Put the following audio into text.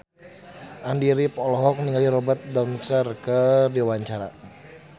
Andy rif olohok ningali Robert Downey keur diwawancara